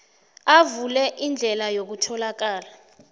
avule indlela yokutholakala